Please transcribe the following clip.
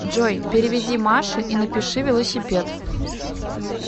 джой переведи маше и напиши велосипед